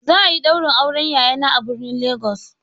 Za a yi ɗaurin auren yayana a birnin Legas.